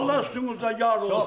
Allah üstünüzə yar olsun.